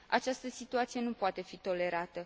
Această situație nu poate fi tolerată.